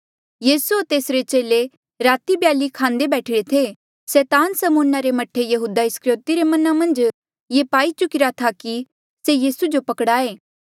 यीसू होर तेसरे चेले राती खाणा खांदे बैठिरे थे सैतान समौना रे मह्ठे यहूदा इस्करयोति रे मना मन्झ ये पाई चुकिरा था कि से यीसू जो पकड़ाये